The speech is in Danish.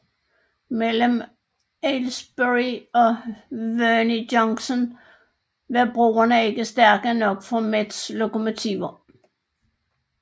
Mellem Aylesbury og Verney Junction var broerne ikke stærke nok for Mets lokomotiver